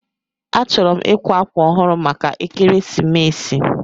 Achọrọ m ịkwa akwa ọhụrụ maka ekeresimesi.